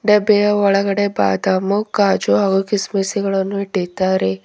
ಡಬ್ಬೆಯ ಒಳಗಡೆ ಬಾದಾಮು ಕಾಜು ಹಾಗು ಕಿಸಮಿಸಿಗಳನ್ನು ಇಟ್ಟಿದ್ದಾರೆ.